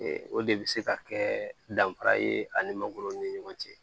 O de bɛ se ka kɛ danfara ye ani mangoro ni ɲɔgɔn cɛ